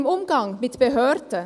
Im Umgang mit Behörden